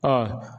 Ɔ